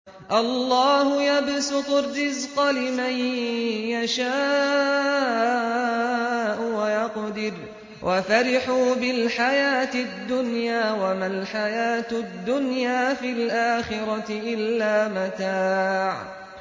اللَّهُ يَبْسُطُ الرِّزْقَ لِمَن يَشَاءُ وَيَقْدِرُ ۚ وَفَرِحُوا بِالْحَيَاةِ الدُّنْيَا وَمَا الْحَيَاةُ الدُّنْيَا فِي الْآخِرَةِ إِلَّا مَتَاعٌ